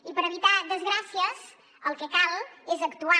i per evitar desgràcies el que cal és actuar